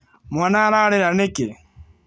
Mwana ararĩra nĩkĩĩ?